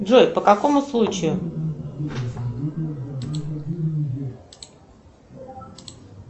джой по какому случаю